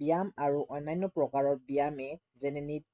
ব্য়ায়াম আৰু অন্য়ান্য় প্ৰকাৰৰ ব্য়ায়ামে যেনে